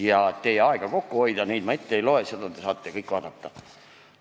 Et teie aega kokku hoida, neid ma ette ei loe, neid te saate kõik protokollist vaadata.